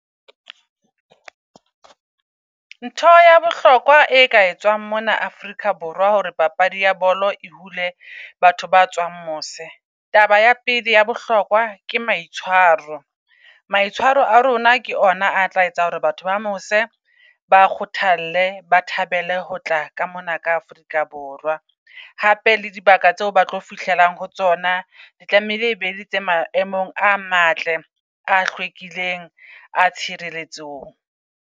Ntho ya bohlokwa e ka etswang mona Afrika Borwa hore papadi ya bolo e hule batho ba tswang mose. Taba ya pele ya bohlokwa ke maitshwaro. Maitshwaro a rona ke ona a tla etsa hore batho ba mose ba kgothale ba thabele ho tla ka mona ka Afrika Borwa. Hape le dibaka tseo ba tlo fihlelang ho tsona, tlamehile e bele tse maemong a matle, a hlwekileng, a tshireletsong.